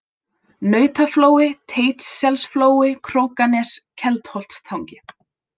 Nautaflói, Teitsselsflói, Krókanes, Keldholtstangi